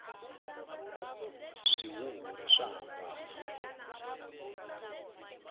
swihuhiri swa hambana